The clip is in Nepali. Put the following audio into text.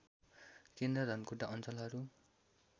केन्द्र धनकुटा अञ्चलहरू